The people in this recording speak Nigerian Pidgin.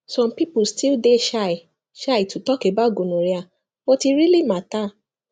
some people still dey shy shy to talk about gonorrhea but e really matter